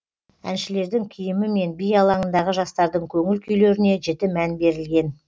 әншілердің киімі мен би алаңындағы жастардың көңіл күйлеріне жіті мән берілген